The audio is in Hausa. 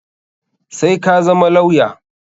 Sai ka zama lawya!